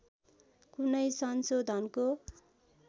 कुनै संशोधनको